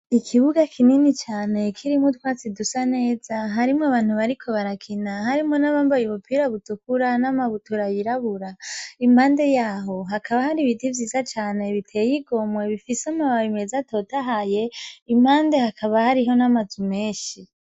Ikibuga kinini cane, kirimwo utwatsi dusa neza, harimwo abantu bariko barakina, harimwo n'abambaye ubupira butukura, n'amabutura yirabura, impande yaho, hakaba hari ibiti vyiza cane biteye igomwe, bifise amababi meza atotahaye, impande hakaba hariho n'amazu menshi.